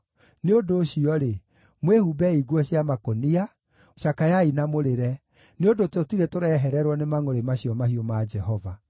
Nĩ ũndũ ũcio-rĩ, mwĩhumbei nguo cia makũnia, cakayai na mũrĩre, nĩ ũndũ tũtirĩ tũrehererwo nĩ mangʼũrĩ macio mahiũ ma Jehova.